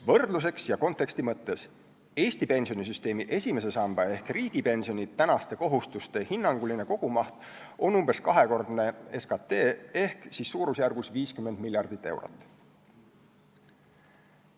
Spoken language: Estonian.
Võrdluseks ja konteksti mõttes: Eesti pensionisüsteemi esimese samba ehk riigipensioni kohustuste hinnanguline kogumaht on umbes kahekordne SKT ehk siis suurusjärgus 50 miljardit eurot.